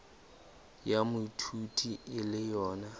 ya moithuti e le yona